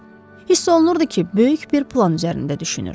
Hiss olunurdu ki, böyük bir plan üzərində düşünür.